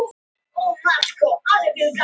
Adrian, ég kom með tólf húfur!